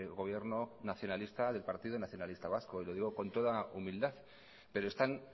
gobierno nacionalista del partido nacionalista vasco y lo digo con toda humildad pero están